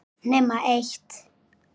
Nema eitt.